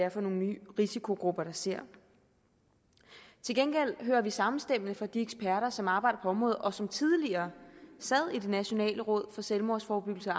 er for nogle nye risikogrupper man ser til gengæld hører vi samstemmende fra de eksperter som arbejder på området og som tidligere sad i det nationale råd for selvmordsforebyggelse og